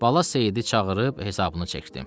Bala Seyidi çağırıb hesabını çəkdi.